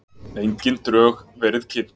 Engin drög verið kynnt